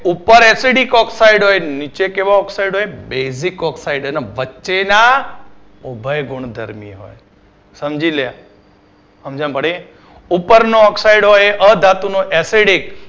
ઉપર Acidic oxide હોય અને નીચે કેવો oxide હોય basic oxide અને વચેના ઉભય ગુણ ધરાવે સમજી લે સમજણ પડી ઉપર નો oxide હોય એ અધાતુનો acidic